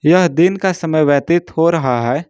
यह दिन का समय व्यतीत हो रहा है।